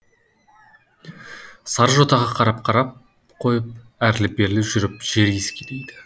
сары жотаға қарап қарап қойып әрлі берлі жүріп жер иіскелейді